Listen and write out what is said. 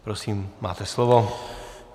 Prosím, máte slovo.